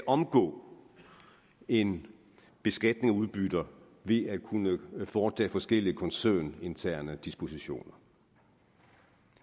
omgå en beskatning af udbytter ved at kunne foretage forskellige koncerninterne dispositioner